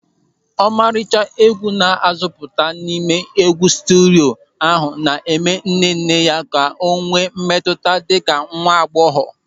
Ọmarịcha egwu na-asụputa n'ime ihe egwu sterio ahụ na-eme nnenne ka ọ enwe mmetụta dịka nwa agbọghọ.